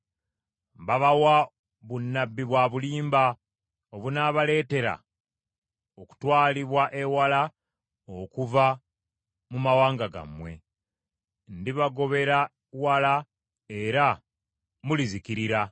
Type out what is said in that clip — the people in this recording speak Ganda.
Baabawa bunnabbi bwa bulimba obunaabaleetera okutwalibwa ewala okuva mu mawanga gammwe. Ndibagobera wala era mulizikirira.